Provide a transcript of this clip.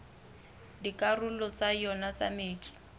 dikarolong tsa yona tsa metso